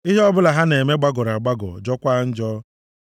Ihe ọbụla ha na-eme gbagọrọ agbagọ, jọọkwa njọ.